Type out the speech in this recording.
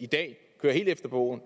i dag kører helt efter bogen